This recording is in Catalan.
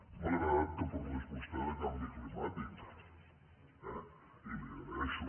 m’ha agradat que parlés vostè de canvi climàtic eh i li ho agreixo